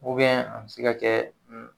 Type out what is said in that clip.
a be se ka kɛ